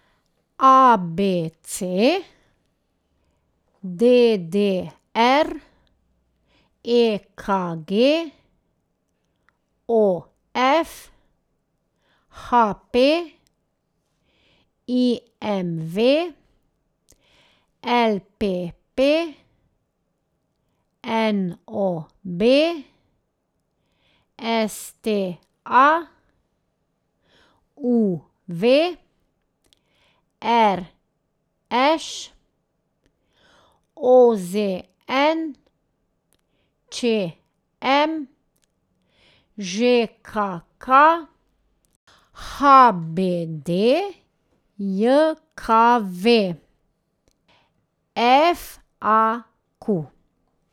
A B C; D D R; E K G; O F; H P; I M V; L P P; N O B; S T A; U V; R Š; O Z N; Č M; Ž K K; H B D J K V; F A Q.